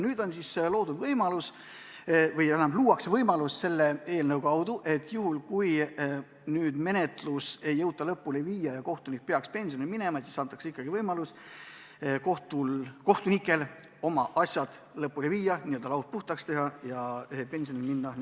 Nüüd siis luuakse võimalus, et kui menetlust ei jõuta lõpule viia, sest kohtunik peaks pensionile minema, siis antakse talle ikkagi võimalus oma asjad lõpuni viia, n-ö laud puhtaks teha ja rahuliku südamega pensionile minna.